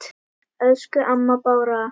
Elsku amma Bára.